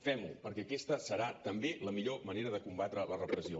fem ho perquè aquesta serà també la millor manera de combatre la repressió